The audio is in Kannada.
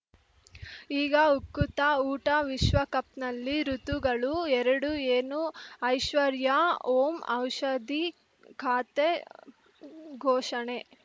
ಈಗ ಉಕುತ ಊಟ ವಿಶ್ವಕಪ್‌ನಲ್ಲಿ ಋತುಗಳು ಎರಡು ಏನು ಐಶ್ವರ್ಯಾ ಓಂ ಔಷಧಿ ಖಾತೆ ಘೋಷಣೆ